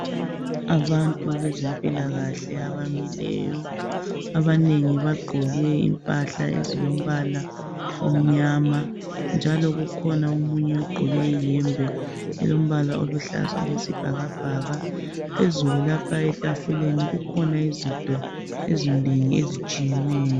Abantu bezempilakahle abamileyo, abanengi bagqoke impahla ezilombala omnyama. Njalo ukukhona omunye ogqoke ihembe elombala oluhlaza okwesibhakabhaka. Phezulu lapha etafuleni kukhona izinto ezinengi ezitshiyeneyo.